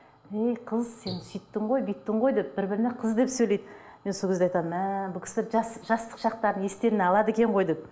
ей қыз сен сөйттің ғой бүйттің ғой деп бір біріне қыз деп сөйлейді мен сол кезде айтамын мә бұл кісілер жас жастық шақтарын естеріне алады екен ғой деп